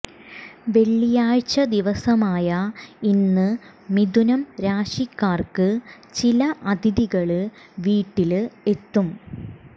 വെള്ളിയാഴ്ച ദിവസമായ ഇന്ന് മിഥുനം രാശിക്കാര്ക്ക് ചില അതിഥികള് വീട്ടില് എത്തും